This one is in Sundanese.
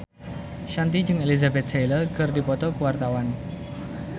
Shanti jeung Elizabeth Taylor keur dipoto ku wartawan